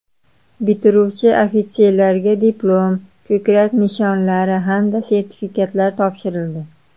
Bitiruvchi ofitserlarga diplom, ko‘krak nishonlari hamda sertifikatlar topshirildi.